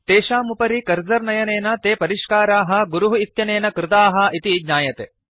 तेषाम् उपरि कर्सर् नयनेन ते परिष्काराः गुरुः इत्यनेन कृताः इति ज्ञायते